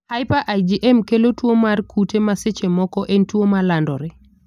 Hyper IgM kelo tuo mar kute ma seche moko en tuo malandore.